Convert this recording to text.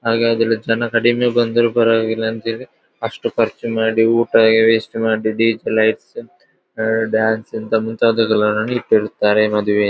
ಹಾಗಾದರೆ ಜನ ಕಡಿಮೆ ಬಂದರು ಪರವಾಗಿಲ್ಲ ಅಂತ ಹೇಳಿ ಅಷ್ಟು ಖರ್ಚು ಮಾಡಿ ಊಟ ಹೀಗೆ ವೇಸ್ಟ್ ಮಾಡಿ ಡಿ.ಜೆ ಲೈಟ್ಸ್ ಡ್ಯಾನ್ಸ್ ಅಂತ ಮುಂತಾದಕ್ಕೆಲ್ಲ ಮದುವೆಯಲ್ಲಿ.